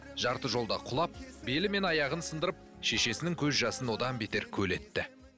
жарты жолда құлап белі мен аяғын сындырып шешесінің көз жасын одан бетер көл етті